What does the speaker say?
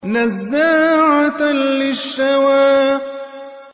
نَزَّاعَةً لِّلشَّوَىٰ